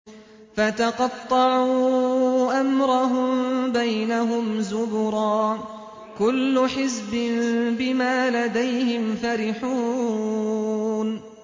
فَتَقَطَّعُوا أَمْرَهُم بَيْنَهُمْ زُبُرًا ۖ كُلُّ حِزْبٍ بِمَا لَدَيْهِمْ فَرِحُونَ